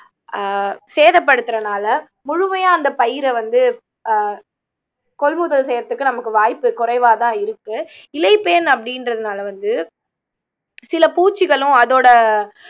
ஆஹ் சேதப்படுத்தறனால முழுமையா அந்தப் பயிரை வந்து ஆஹ் கொள்முதல் செய்யறதுக்கு நமக்கு வாய்ப்பு குறைவாதான் இருக்கு இலைப்பேன் அப்படின்றதுனால வந்து சில பூச்சிகளும் அதோட